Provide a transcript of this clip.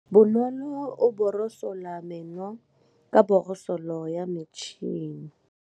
Bonolô o borosola meno ka borosolo ya motšhine.